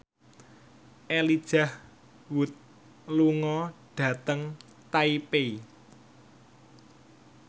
Elijah Wood lunga dhateng Taipei